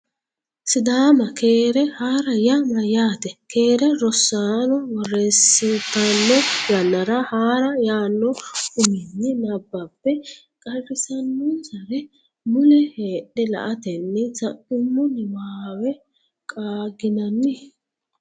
sidaama Keere haa’ra yaa mayyaate? “Keere Rosaano borreessitanno yannara Haa’ra” yaanno uminni nabbambe qarrisannonsare mule heedhe la”atenni sa’nummo niwaawe qaagginanni?